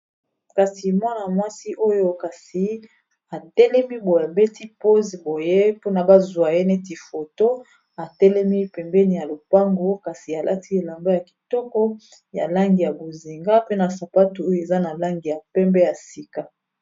Kasi mwana-mwasi oyo kasi atelemi boye abeti poze boye mpona bazwa ye neti foto atelemi pembeni ya lopango kasi alati elamba ya kitoko ya langi ya bonzinga pe na sapatu oyo eza na langi ya pembe ya sika.